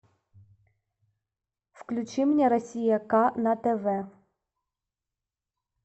включи мне россия к на тв